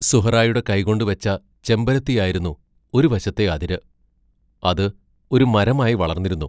സുഹ്റായുടെ കൈകൊണ്ടു വെച്ച ചെമ്പരത്തിയായിരുന്നു ഒരു വശത്തെ അതിര് അത് ഒരു മരമായി വളർന്നിരുന്നു.